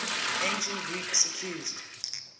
ancient greeks accused